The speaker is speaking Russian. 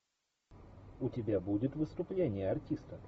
у тебя будет выступление артиста